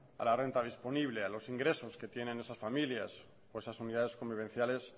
a la renta disponible a los ingresos que tienen esas familias o esas unidades convivenciales